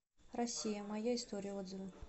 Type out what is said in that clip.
россия моя история отзывы